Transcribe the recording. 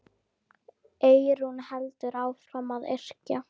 Eyrún heldur áfram að yrkja.